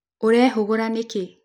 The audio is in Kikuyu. ũrehũhũga níkí?